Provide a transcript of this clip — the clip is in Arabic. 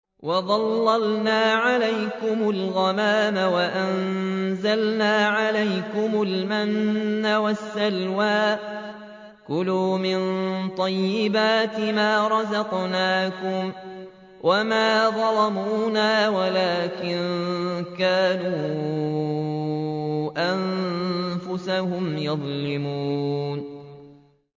وَظَلَّلْنَا عَلَيْكُمُ الْغَمَامَ وَأَنزَلْنَا عَلَيْكُمُ الْمَنَّ وَالسَّلْوَىٰ ۖ كُلُوا مِن طَيِّبَاتِ مَا رَزَقْنَاكُمْ ۖ وَمَا ظَلَمُونَا وَلَٰكِن كَانُوا أَنفُسَهُمْ يَظْلِمُونَ